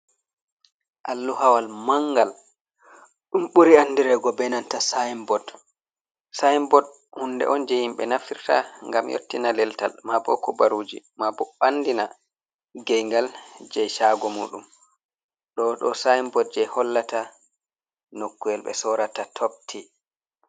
Alluhawal manngal, ɗum ɓuri andirego be nanta saynbot. Saynbot hunde on je yimɓe nafirta ngam yottina leltal, maabo kubaruuji, maabo andina gaingal je shaago muɗum. Ɗo ɗo saynbot je hollata nokkuwel ɓe sorrata top tii.